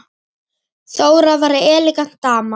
Þóra var elegant dama.